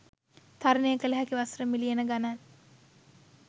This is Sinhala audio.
තරනය කල හැකි වසර මිලියන ගනන්